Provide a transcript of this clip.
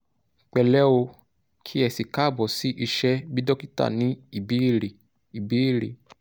pẹ̀lẹ́ o kí ẹ si káàbọ̀ sí iṣẹ́ 'bí dókítà ní ìbéèrè' ìbéèrè'